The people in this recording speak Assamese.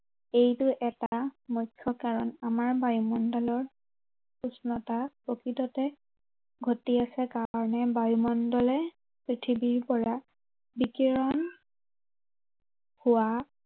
এইটো এটা মুখ্য় কাৰন। আমাৰ বায়ুমণ্ডলৰ উষ্ণতা প্ৰকৃততে, ঘটি আছে কাৰনে বায়ু মণ্ডলে, পৃথিৱীৰ পৰা বিকিৰণ হোৱা